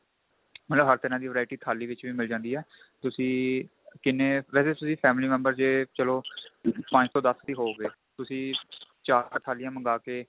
ਮਤਲਬ ਹਰ ਤਰ੍ਹਾਂ ਦੀ variety ਥਾਲੀ ਵਿੱਚ ਵੀ ਮਿਲ ਜਾਂਦੀ ਏ ਤੁਸੀਂ ਕਿੰਨੇ ਵੈਸੇ ਜੇ ਤੁਸੀਂ family member ਜੇ ਚਲੋ ਪੰਜ ਤੋਂ ਦੱਸ ਵੀ ਹੋਉਗੇ ਤੁਸੀਂ ਚਾਰ ਥਾਲੀਆਂ ਮੰਗਾ ਕੇ